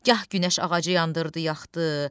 Gah günəş ağacı yandırdı, yaxdı,